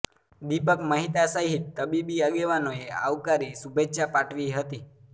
દીપક મહેતા સહીત તબીબી આગેવાનોએ આવકારી શુભેચ્છા પાઠવી હતી